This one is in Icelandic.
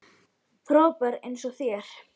Frábær eins og þér.